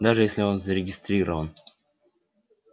даже если он зарегистрирован